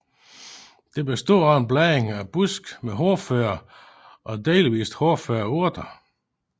Det bestod af en blanding af buske med hårdføre og delvist hårføre urter